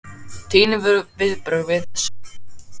Þín viðbrögð við þessu?